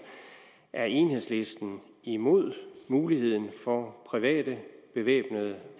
er enhedslisten imod muligheden for private bevæbnede